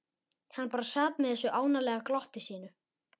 Hann bara sat með þessu ánalega glotti sínu.